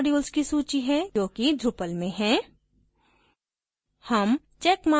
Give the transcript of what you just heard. यह कुछ modules की सूची है जो कि drupal में हैं